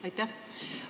Aitäh!